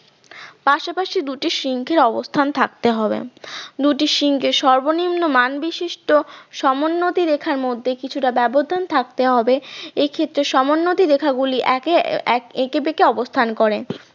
পাশাপাশি দুটি সিংহের অবস্থান থাকতে হবে দুটি সিংহের সর্বনিম্ন মান বিশিষ্ট সমোন্নতি রেখার মধ্যে কিছুটা ব্যবধান থাকতে হবে এক্ষেত্রে সমোন্নতি রেখা গুলি একে এক এঁকেবেঁকে অবস্থান করে।